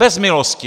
Bez milosti!